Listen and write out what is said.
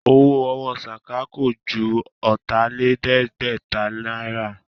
Owó ọwọ́ Sàká kò ju Ọ̀tàlẹ̀ẹ́dẹ́gbẹ̀ta náírà